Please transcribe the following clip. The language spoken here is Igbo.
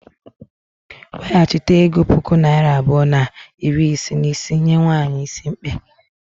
Weghachite ego puku naira abụọ na iri isii na isii nye nwanyị is mkpe.